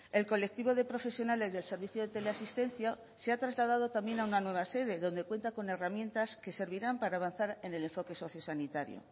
el colectivo de profesionales del servicio de teleasistencia se ha trasladado también a una nueva sede donde cuenta con herramientas que servirán para avanzar en el enfoque sociosanitario